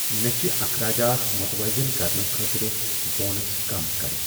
مےٚ چھ اخراجات متوازن کرنہٕ خٲطرٕ بونس کم کرٕنۍ ۔